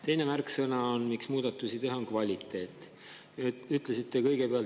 Teine märksõna,, miks muudatusi teha, on kvaliteet.